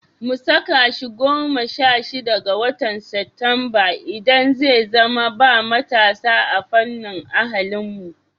Mu saka shi goma sha shida ga watan Satumba, idan zai zama ba matasa ta fannin ahlinmu.